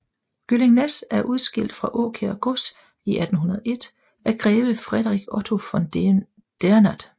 Gyllingnæs er udskilt fra Åkær Gods i 1801 af greve Friedrich Otto von Dernath